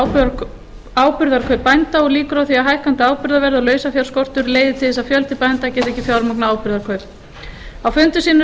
varðandi áburðarkaup bænda og líkur á því að hækkandi áburðarverð og lausafjárskortur leiði til þess að fjöldi bænda geti ekki fjármagnað áburðarkaup á fundum sínum